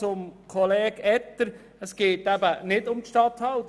Zu Kollege Etter: Es geht nicht um die Regierungsstatthalter.